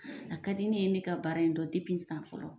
A ka di ne ye ne ka baara in dɔn san fɔlɔ.